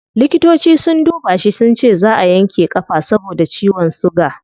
Likitoci sun duba shi sunce zaa a yanke kafa saboda ciwon suga